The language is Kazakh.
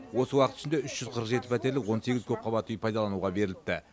осы уақыт ішінде үш жүз қырық жеті пәтерлік он сегіз көпқабатты үй пайдалануға беріліпті